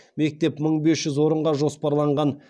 мектеп мың бес жүз орынға жоспарланған